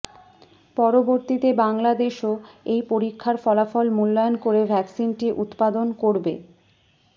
পরবর্তীতে বাংলাদেশও এই পরীক্ষার ফলাফল মূল্যায়ন করে ভ্যাকসিনটি উৎপাদন করবে